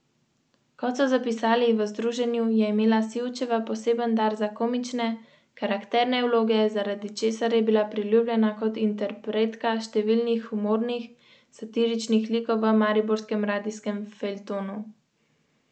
V sredo je zagotovil, da bo glasovanje o pomoči v petek, kar pomeni, da bo moral senat znova potrditi svoj predlog, ker od danes naprej kongres zaseda v novi sestavi.